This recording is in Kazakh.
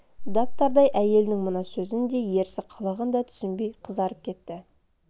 дап-дардай әйелің мына сөзін де ерсі қылығын да түсінбей қызарып кетті